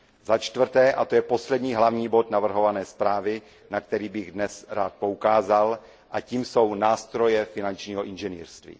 Za čtvrté, a to je poslední hlavní bod navrhované zprávy, na který bych dnes rád poukázal, a tím jsou nástroje finančního inženýrství.